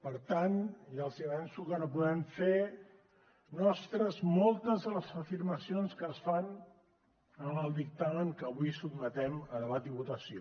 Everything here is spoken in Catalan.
per tant ja els avanço que no podem fer nostres moltes de les afirmacions que es fan en el dictamen que avui sotmetem a debat i votació